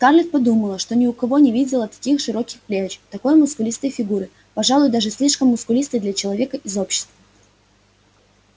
скарлетт подумала что ни у кого не видела таких широких плеч такой мускулистой фигуры пожалуй даже слишком мускулистой для человека из общества